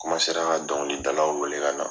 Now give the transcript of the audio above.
ra an ka dɔnkili dalaw wele ka na.